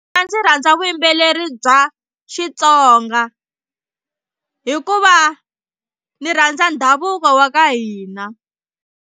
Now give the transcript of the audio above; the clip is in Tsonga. A ndzi rhandza vuyimbeleri bya Xitsonga hikuva ni rhandza ndhavuko wa ka hina.